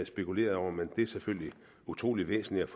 spekuleret over men det er selvfølgelig utrolig væsentligt